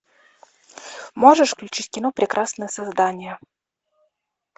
можешь включить кино прекрасное создание